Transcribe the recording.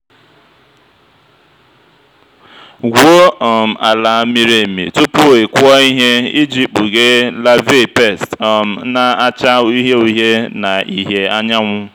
gwuo um ala miri emi tupu ị kụọ ihe iji kpughee larvae pest um na-acha uhie uhie na ìhè anyanwụ.